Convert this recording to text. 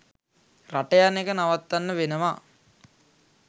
රට යන එක නවත්තන්න වෙනවා